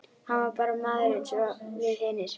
Hann var bara maður eins og við hinir.